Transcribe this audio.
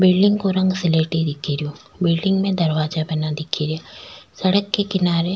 building को रंग सलेटी दिख रो बिल्डिंग में दरवाजा बनिया दिखे रा सड़क के किनारे --